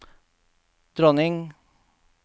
dronning